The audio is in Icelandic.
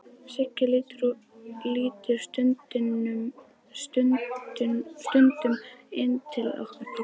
Siggi lítur stundum inn til okkar pabba.